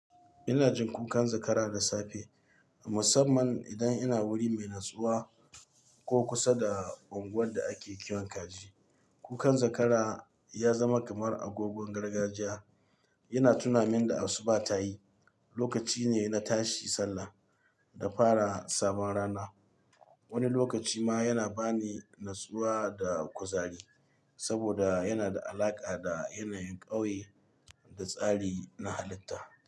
Ina jin kukan zakara da safe, musamman idan ina wuri mai natsuwa ko kusa da unguwar da ake kiwon kaji. Kukan zakara ya zama kamar agogon gargajiya, yana tunamin da asuba ta yi lokaci ne na tashi sallah da fara sabon rana. Wani lokaci ma yana ba ni natsuwa da kuzari saboda yana da alaƙa da yanayin ƙauye da tsari na halitta.